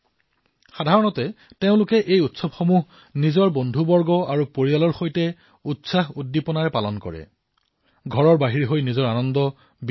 সাধাৰণতে এই উৎসৱসমূহ নিজৰ বন্ধুবান্ধৱৰ সৈতে পৰিয়ালৰ সৈতে পূৰ্ণ উৎসাহ আৰু উদ্দীপনাৰ সৈতে পালন কৰা হয়